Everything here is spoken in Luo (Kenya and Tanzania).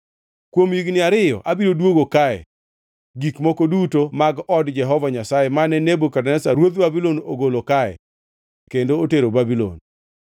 Kuom higni ariyo abiro duogo kae gik moko duto mag od Jehova Nyasaye mane Nebukadneza ruodh Babulon ogolo kae kendo otero Babulon.